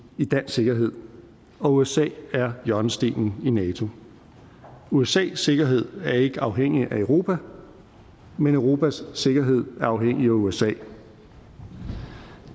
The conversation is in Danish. i dansk sikkerhed og usa er hjørnestenen i nato usas sikkerhed er ikke afhængig af europa men europas sikkerhed er afhængig af usa